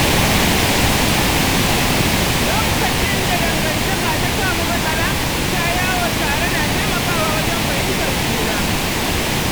Lokacin da dangantaka ta samu matsala, fita yawo tare na taimakawa wajen fahimtar juna.